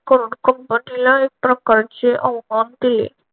करून कंपनीला एक प्रकारचे आव्हान दिले.